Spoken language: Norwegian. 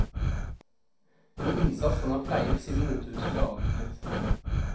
En innsats han har pleiet siden motehuset ble avviklet.